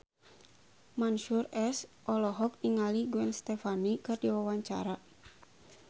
Mansyur S olohok ningali Gwen Stefani keur diwawancara